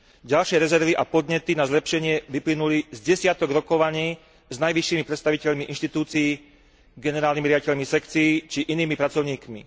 Ďalšie rezervy a podnety na zlepšenie vyplynuli z desiatok rokovaní s najvyššími predstaviteľmi inštitúcií, generálnymi riaditeľmi sekcií, či inými pracovníkmi.